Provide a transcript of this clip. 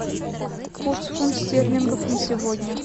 курс фунт стерлингов на сегодня